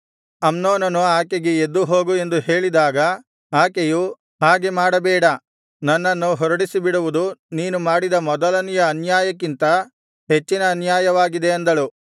ಅಮ್ನೋನನು ಆಕೆಗೆ ಎದ್ದು ಹೋಗು ಎಂದು ಹೇಳಿದಾಗ ಆಕೆಯು ಹಾಗೆ ಮಾಡಬೇಡ ನನ್ನನ್ನು ಹೊರಡಿಸಿಬಿಡುವುದು ನೀನು ಮಾಡಿದ ಮೊದಲನೆಯ ಅನ್ಯಾಯಕ್ಕಿಂತ ಹೆಚ್ಚಿನ ಅನ್ಯಾಯವಾಗಿದೆ ಅಂದಳು